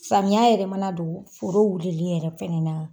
Samiya yɛrɛ mana don foro wulili yɛrɛ fɛnɛ na.